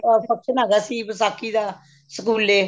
function ਹੈਗਾ ਸੀ ਵਿਸ਼ਾਖੀ ਦਾ ਸਕੂਲੇ